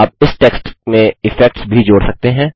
आप इस टेक्स्ट में इफेक्ट्स भी जोड़ सकते हैं